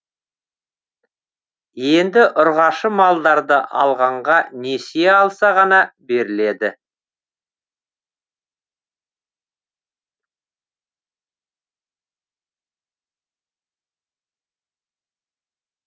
енді ұрғашы малдарды алғанға несие алса ғана беріледі